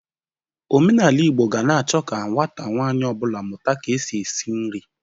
Omenala Igbo ga na-achọ ka nwata nwanyị ọ bụla mụta ka e si esi nri.